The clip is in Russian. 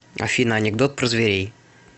афина анекдот про зверей